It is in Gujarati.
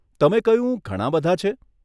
તમે કહ્યું, ઘણાં બધાં છે?